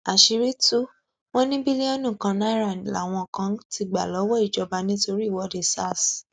àṣírí tù wọn ní bílíọnù kan náírà làwọn kan ti gbà lọwọ ìjọba nítorí ìwọde sars